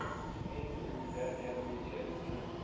имеется ли у тебя первые челленджи